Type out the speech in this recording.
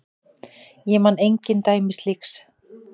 Ég man engin dæmi slíks.